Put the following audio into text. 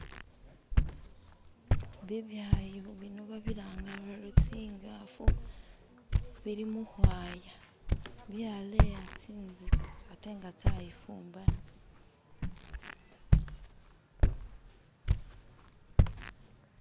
bibyayo bino babiranga bari tsingafu bili muhwaya byaleya tsintzika atenga tsayifumbana